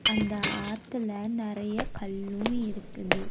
அந்த ஆத்துல நெறைய கல்லும் இருக்குது.